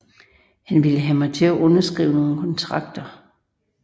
Han ville have mig til at underskrive nogle kontrakter